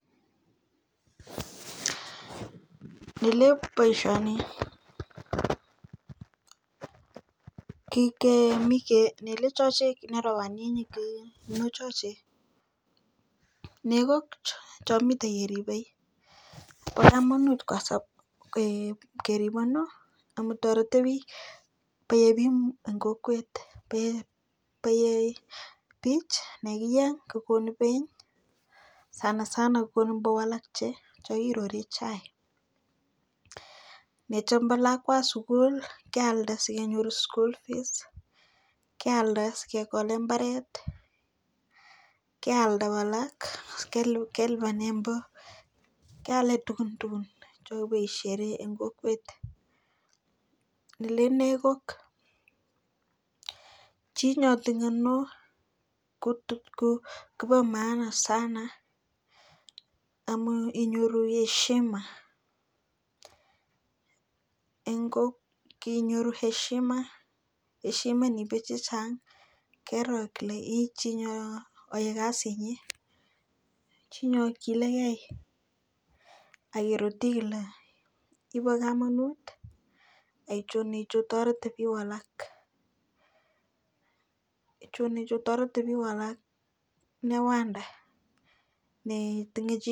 nilep boisioni nilechochek nekike nekok chomite keribe bo komonut kerib ano kerib amu toreti biik eng kokwet bae bich yekieny kokonu beny sana sana konboalak yekirori chaik yechombo lakwa sukul kealda sikenyor school fees kealda sikekole mbaret kealda kora kelibane kelibane mbo keale tugun tugun ye mi shere en kokwet nelenee kok chi notinye kok kobomaana sana amu inyoru heshima en biik chechang kero kele ichii neoe kasitnyi chi nei kilikei akirutinyo ibokomunut akimuchi itoret biik alak ichonicho imuchi itoret bik alak engwanda netinye chii.